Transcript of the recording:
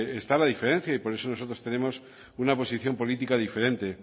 está la diferencia y por eso nosotros tenemos una posición política diferente